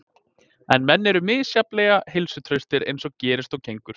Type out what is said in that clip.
En menn eru misjafnlega heilsuhraustir eins og gerist og gengur.